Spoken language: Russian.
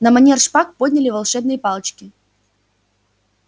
на манер шпаг подняли волшебные палочки